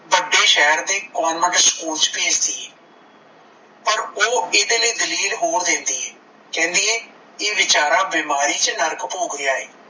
ਵੱਡੇ ਸਹਿਰ ਦੇ government school ਚ ਭੇਜਦੀ ਏ ਪਰ ਓਹ ਏਦੇ ਲਈ ਦਲੀਲ ਹੋਰ ਦਿੰਦੀ ਏ ਕਹਿੰਦੀ ਏ ਇਹ ਬੀਚਾਰਾ ਬਿਮਾਰੀ ਚ ਨਰਕ ਭੋਗ ਰੀਆ ਏ,